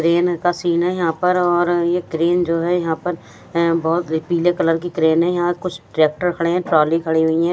crane का scene हैं यहाँ पर और एक क्रेन जो हैं यहाँ पर हैं बहुत पीले कलर की क्रेन हैं यहाँ कुछ ट्रेक्टर खडे हैं ट्रॉली खडी हुई हैं --